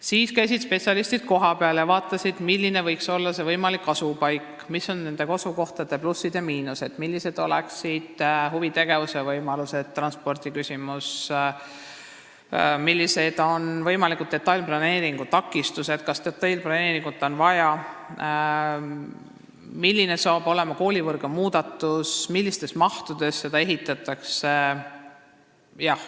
Spetsialistid käisid kohapeal ja vaatasid, milline võiks olla parim võimalik asupaik, mis on asukohtade plussid ja miinused, millised oleksid seal huvitegevuse võimalused, kuidas lahendatakse transpordiküsimus, millised oleksid võimaliku detailplaneeringu tegemise takistused, millist detailplaneeringut on vaja, milline tuleb koolivõrgu muudatus ning millise mahuga see kool ehitatakse.